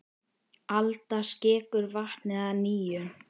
Alda skekur vatnið að nýju.